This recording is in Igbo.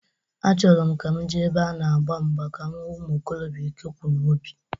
Achọrọ m ka m jee ebe a na-agba mgba ka m hu umuikorobịa ike kwụ n'obi.